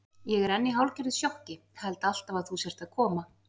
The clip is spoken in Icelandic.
Ég er enn í hálfgerðu sjokki, held alltaf að þú sért að koma.